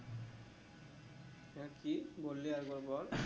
হ্যাঁ কি বললি আরেকবার বল